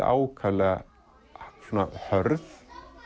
ákaflega hörð